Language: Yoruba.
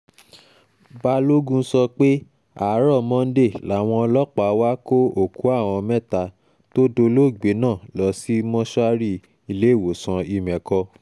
balógun sọ pé àárò um monde làwọn ọlọ́pàá wàá kó òkú àwọn mẹ́ta um tó dolóògbé náà lọ sí mọ́ṣúárì iléèwòsàn ìmẹ̀kọ